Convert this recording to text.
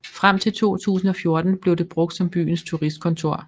Frem til 2014 blev det brugt som byens turistkontor